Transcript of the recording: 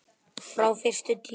Frá fyrstu tíð.